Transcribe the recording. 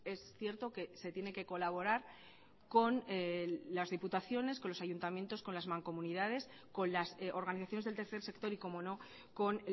es cierto que se tiene que colaborar con las diputaciones con los ayuntamientos con las mancomunidades con las organizaciones del tercer sector y como no con